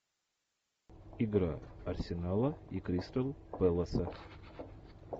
игра арсенала и кристал пэласа